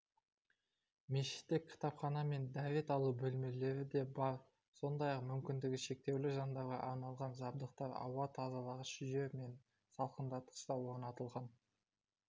мешітте кітапхана мен дәрет алу бөлмелері де бар сондай-ақ мүмкіндігі шектеулі жандарға арналған жабдықтар ауа тазалағыш жүйе мен салқындатқыш та орнатылған